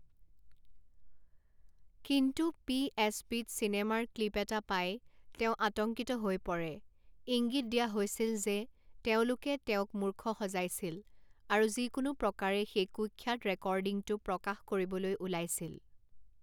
কিন্তু P S পিত চিনেমাৰ ক্লিপ এটা পাই তেওঁ আতংকিত হৈ পৰে ইংগিত দিয়া হৈছিল যে তেওঁলোকে তেওঁক মুৰ্খ সজাইছিল আৰু যিকোনো প্ৰকাৰে সেই কুখ্যাত ৰেকৰ্ডিংটো প্ৰকাশ কৰিবলৈ ওলাইছিল।